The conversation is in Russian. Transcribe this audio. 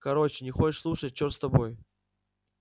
короче не хочешь слушать черт с тобой